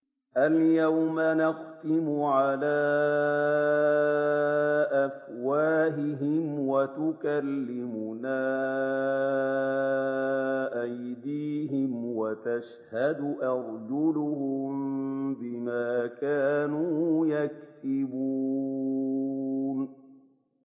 الْيَوْمَ نَخْتِمُ عَلَىٰ أَفْوَاهِهِمْ وَتُكَلِّمُنَا أَيْدِيهِمْ وَتَشْهَدُ أَرْجُلُهُم بِمَا كَانُوا يَكْسِبُونَ